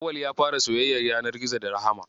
Auwal ya fara so soyayyar yanar gizo da Rahama.